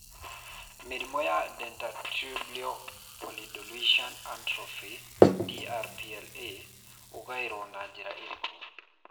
Mũrimũ wa Dentatorubral Pallidoluysian Atrophy (DRPLA) ũgaĩrũo na njĩra ĩrĩkũ?